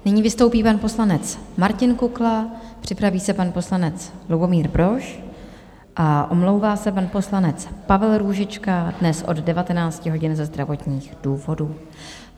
Nyní vystoupí pan poslanec Martin Kukla, připraví se pan poslanec Lubomír Brož a omlouvá se pan poslanec Pavel Růžička dnes od 19 hodin ze zdravotních důvodů.